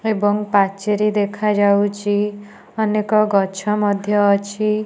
ଏବଂ ପାଚିରି ଦେଖାଯାଉଚି ଅନେକ ଗଛ ମଧ୍ୟ ଅଛି।